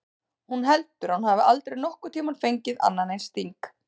Hún heldur að hún hafi aldrei nokkurn tímann fengið annan eins sting.